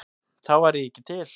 Þá væri ég ekki til?